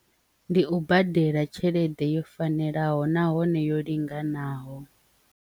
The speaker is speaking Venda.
Ndi u badela tshelede yo fanelaho nahone yo linganaho.